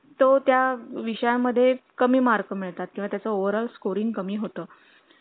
तो त्या विषया मध्ये कमी mark मिळतात किंवा त्याचा overall scoring कमी होतं